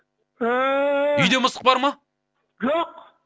ііі үйде мысық бар ма жоқ